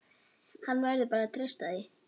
Hann verður bara að treysta því.